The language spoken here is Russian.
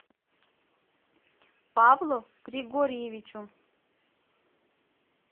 павлу григорьевичу